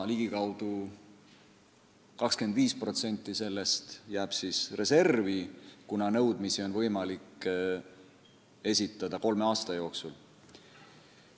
Ligikaudu 25% sellest jääb reservi, kuna nõudmisi on võimalik esitada kolme aasta jooksul.